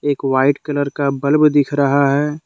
एक white colour का bulb दिख रहा है।